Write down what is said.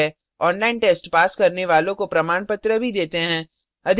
online test pass करने वालों को प्रमाणपत्र भी देते हैं